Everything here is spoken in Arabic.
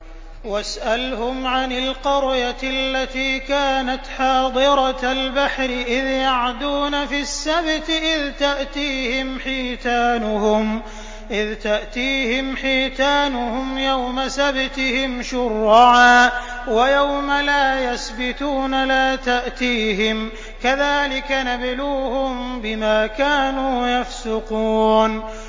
وَاسْأَلْهُمْ عَنِ الْقَرْيَةِ الَّتِي كَانَتْ حَاضِرَةَ الْبَحْرِ إِذْ يَعْدُونَ فِي السَّبْتِ إِذْ تَأْتِيهِمْ حِيتَانُهُمْ يَوْمَ سَبْتِهِمْ شُرَّعًا وَيَوْمَ لَا يَسْبِتُونَ ۙ لَا تَأْتِيهِمْ ۚ كَذَٰلِكَ نَبْلُوهُم بِمَا كَانُوا يَفْسُقُونَ